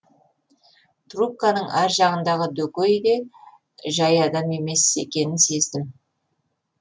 трубканың ар жағындағы дөкей де жай адам емес екенін сездім